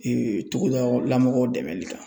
togoda la mɔgɔw dɛmɛli kan.